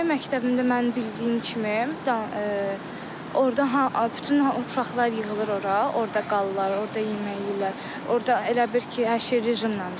Yay məktəbində mən bildiyim kimi, orda bütün uşaqlar yığılır ora, orda qalırlar, orda yemək yeyirlər, orda elə bil ki, hər şey rejimnəndir.